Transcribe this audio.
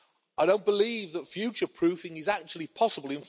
I don't believe that future proofing is actually possible.